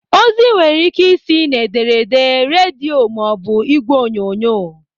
Ozi nwere ike ị si n'ederede, redio maọbụ igwe onyonyo.